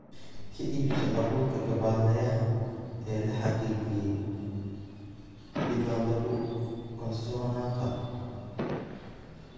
Ka iibso abuurka gabbaldayaha ee la xaqiijiyay ilo lagu kalsoonaan karo.